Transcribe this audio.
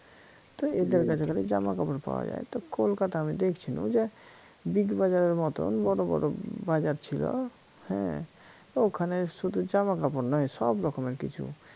তা এদের কাছে খালি জামা কাপড়ই পাওয়া যায় তা কলকাতায় আমি দেখছিনু যে big bazar এর মতন বড় বড় হম বাজার ছিল হ্যা তা ওখানে শুধু জামাকাপড় নয় সব রকমের কিছু